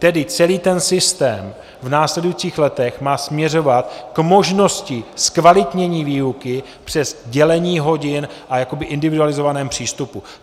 Tedy celý ten systém v následujících letech má směřovat k možnosti zkvalitnění výuky přes dělení hodin a jakoby individualizovaném přístupu.